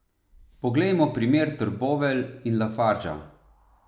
Poglejmo primer Trbovelj in Lafarga.